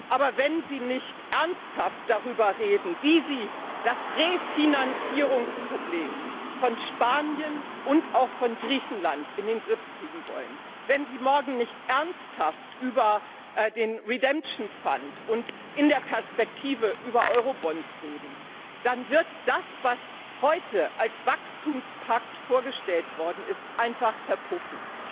Aber wenn Sie nicht ernsthaft darüber reden, wie Sie das Refinanzierungsproblem Spaniens und auch Griechenlands in den Griff bekommen wollen, wenn Sie morgen nicht ernsthaft über den Schuldentilgungsfonds und in der Perspektive über Eurobonds reden, dann wird das, was heute als Wachstumspakt vorgestellt worden ist, einfach verpuffen.